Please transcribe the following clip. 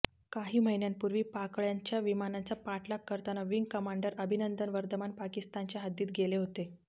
काही महिन्यांपूर्वी पाकडय़ांच्या विमानांचा पाठलाग करताना विंग कमांडर अभिनंदन वर्धमान पाकिस्तानच्या हद्दीत गेले होते